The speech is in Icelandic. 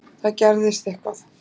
Það gerðist eitthvað.